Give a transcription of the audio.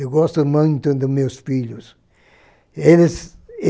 Eu gosto muito dos meus filhos. Eles